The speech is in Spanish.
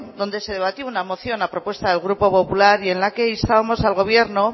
donde se debatió una moción a propuesta del grupo popular y en la que instábamos al gobierno